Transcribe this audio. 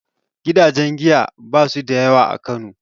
Gidajen giya ba su da yawa a Kano